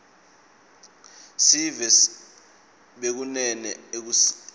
sive bekunene akusini